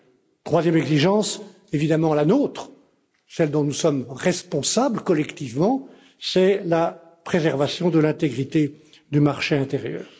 La troisième exigence, évidemment la nôtre, celle dont nous sommes responsables collectivement, c'est la préservation de l'intégrité du marché intérieur.